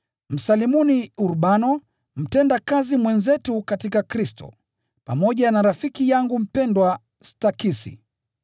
Msalimuni Urbano, mtendakazi mwenzetu katika Kristo, pamoja na rafiki yangu mpendwa Stakisi.